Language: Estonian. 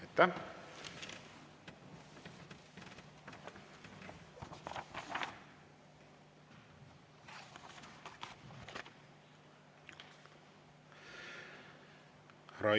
Aitäh!